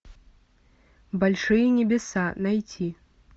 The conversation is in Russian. большие небеса найти